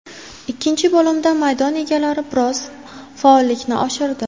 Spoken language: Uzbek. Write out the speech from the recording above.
Ikkinchi bo‘limda maydon egalari biroz faollikni oshirdi.